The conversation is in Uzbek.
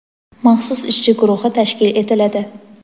maxsus ishchi guruhi tashkil etiladi.